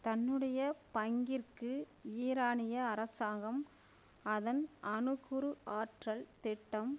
தன்னுடைய பங்கிற்கு ஈரானிய அரசாங்கம் அதன் அணுக்குரு ஆற்றல் திட்டம்